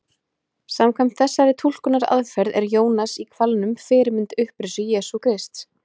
Samkvæmt þessari túlkunaraðferð er Jónas í hvalnum fyrirmynd upprisu Jesú Krists.